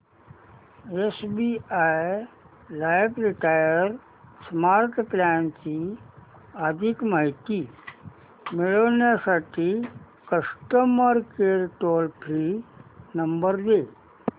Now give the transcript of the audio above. SBI life retire smart plan ची अधिक माहिती मिळविण्यासाठी customer care toll free number दे